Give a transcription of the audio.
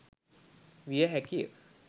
විය හැකිය.